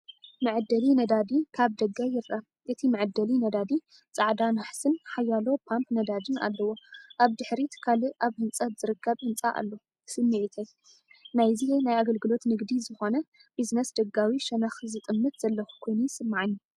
መዐደሊ ነዳዲ ካብ ደገ ይርአ። እቲ መዐደሊ ነዳዲ ጻዕዳ ናሕስን ሓያሎ ፓምፕ ነዳዲን ኣለዎ። ኣብ ድሕሪት ካልእ ኣብ ህንጸት ዝርከብ ህንጻ ኣሎ። ስምዒተይ፦ ናይዚ ናይ ኣገልግሎት ንግዲ ዝኾነ ቢዝነስ ደጋዊ ሸነኽ ዝጥምት ዘለኹ ኮይኑ ይስምዓኒ።